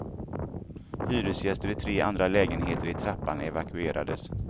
Hyresgäster i tre andra lägenheter i trappen evakuerades.